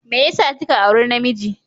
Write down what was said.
Me yasa kika auri namiji?